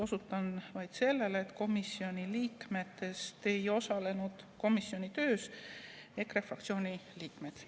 Osutan vaid sellele, et komisjoni liikmetest ei osalenud komisjoni töös EKRE fraktsiooni liikmed.